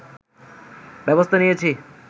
ব্যবস্থা নিয়েছি